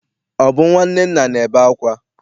Ọ bụ nnwa Nnenna na-ebe akwa?